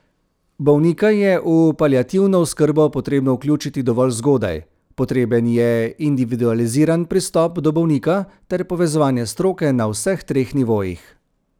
Bolnika je v paliativno oskrbo potrebno vključiti dovolj zgodaj, potreben je individualiziran pristop do bolnika ter povezovanje stroke na vseh treh nivojih.